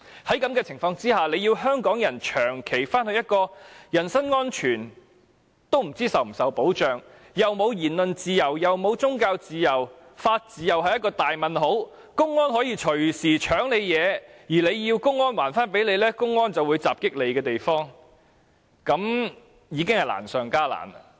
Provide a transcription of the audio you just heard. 在這種情況下，要香港人長期處於一個連人身安全亦不知道是否受到保障、沒有言論自由、沒有宗教自由、法治同樣是一個大問號的地方，並且隨時可能被公安搶奪東西，如果要求歸還便會受到襲擊，是有困難的。